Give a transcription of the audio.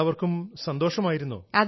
എല്ലാവർക്കും സന്തോഷമായിരുന്നോ